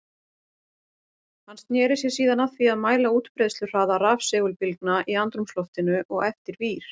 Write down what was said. Hann sneri sér síðan að því að mæla útbreiðsluhraða rafsegulbylgna í andrúmsloftinu og eftir vír.